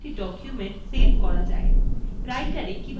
কিভাবে একটি document save করা যায়